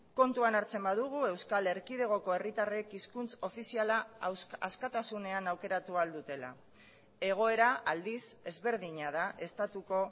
kontuan hartzen badugu euskal erkidegoko herritarrek hizkuntz ofiziala askatasunean aukeratu ahal dutela egoera aldiz ezberdina da estatuko